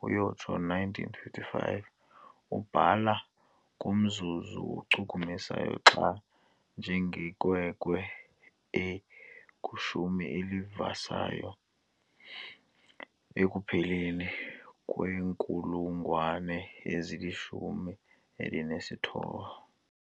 - 1955 ubhala ngomzuzu ochukumisayo xa njengenkwenkwe ekwishumi elivisayo ekupheleni kwenkulugwane ezilishumi elinesithoba.